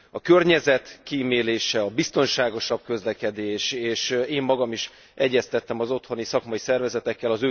A környezet kímélése, a biztonságosabb közlekedés, és én magam is egyeztettem az otthoni szakmai szervezetekkel.